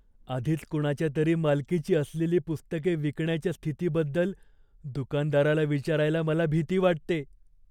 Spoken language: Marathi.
आधीच कुणाच्या तरी मालकीची असलेली पुस्तके विकण्याच्या स्थितीबद्दल दुकानदाराला विचारायला मला भीती वाटते.